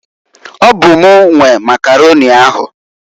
Ọ bụ m nwe nwe Makaroni ahu.